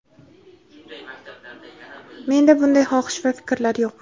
menda bunday xohish va fikrlar yo‘q.